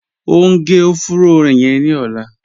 O ń gé ọ̀fùró yẹn ni ọ̀lá